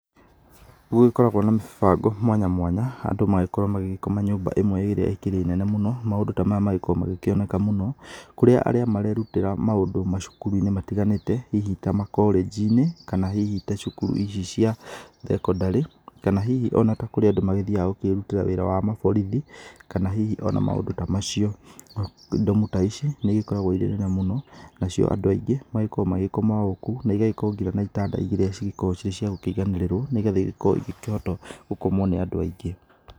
Nĩ gũgĩkoragwo na mĩbango mwanya mwanya andũ magĩgĩkorwo magĩkoma nyũmba ĩmwe ĩrĩa ĩkĩrĩ nene mũno. Maũndũ ta maya magĩkoragwo magĩkĩoneka mũno kũrĩ arĩa marerutĩra maũndũ macukũrũ-inĩ matiganĩte ta macorĩgi-inĩ kana hihi ta cukuru ici cia thekondarĩ. Kana hihi ona ta kũrĩa andũ magĩthiaga gũkĩrutĩra wĩra wa maborithi kana hihi ona maũndũ ta macio. ndomu ta ici nĩ ikoragwo irĩ nene mũno nacio andũ aingĩ magĩkoragwo magĩkoma okuo. na igagĩkorwo ngina na itanda iria cikoragwo iciakũiganĩrĩrwo, nĩ getha igĩkorwo igĩkĩhota gũkomwo nĩ andũ aingĩ.